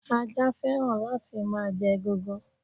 Ajá féràn la ti ma je egungun